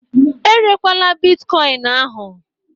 Erekwala Bịtkọin ahụ!